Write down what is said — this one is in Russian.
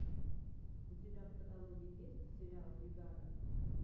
у тебя в каталоге есть сериал бригада